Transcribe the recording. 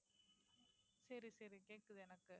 சரி சரி கேட்குது எனக்கு